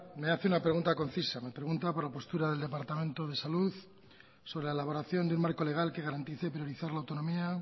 me hace una pregunta concisa me pregunta por la postura del departamento de salud sobre la elaboración de un marco legal que garantice priorizar la autonomía